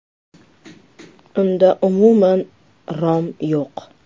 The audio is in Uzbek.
Unda umuman rom yo‘q.